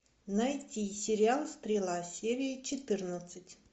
найти сериал стрела серия четырнадцать